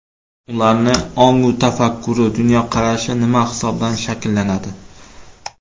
Ularning ongu tafakkuri, dunyoqarashi nima hisobidan shakllanadi?